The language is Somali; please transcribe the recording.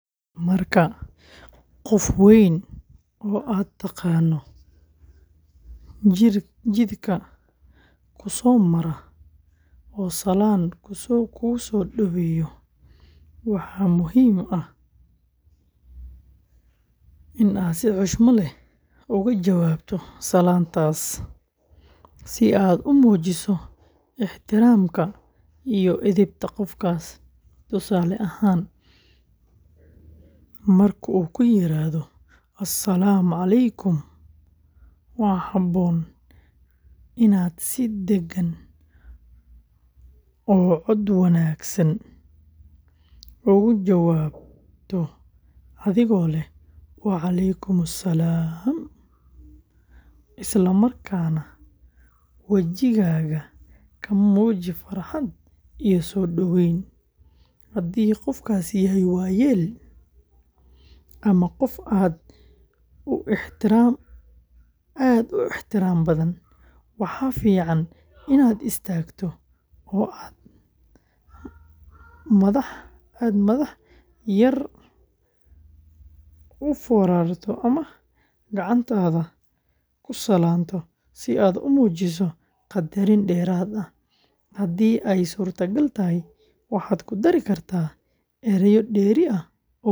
Marka qof weyn oo aad taqaan jidka ku soo mara oo salaam ku soo dhaweeyo, waxaa muhiim ah in aad si xushmad leh uga jawaabto salaantaas si aad u muujiso ixtiraamka iyo edebta qofkaas. Tusaale ahaan, marka uu ku yiraahdo "As-salaamu calaykum," waxaa habboon inaad si deggan oo cod wanaagsan uga jawaabto adigoo leh "Wa calaykum salaam," isla markaana wejigaaga ka muuji farxad iyo soo dhoweyn. Haddii qofkaasi yahay waayeel ama qof aad u ixtiraam badan, waxaa fiican inaad istaagto oo aad madax yar u foorarto ama gacantaada ku salaanto si aad u muujiso qadarin dheeraad ah. Haddii ay suurtagal tahay, waxaad ku dari kartaa erayo dheeri ah oo wanaagsan.